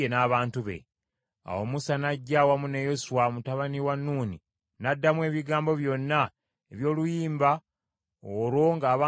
Awo Musa n’ajja awamu ne Yoswa mutabani wa Nuuni, n’addamu ebigambo byonna eby’oluyimba olwo ng’abantu bonna bawulira.